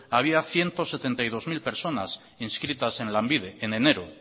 había ciento setenta y dos mil personas inscritas en lanbide en enero